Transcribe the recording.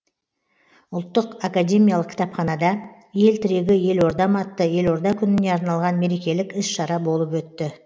ұлттық академиялық кітапханада ел тірегі елордам атты елорда күніне арналған мерекелік іс шара болып өтті